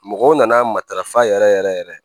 Mɔgɔw nana matarafa yɛrɛ yɛrɛ yɛrɛ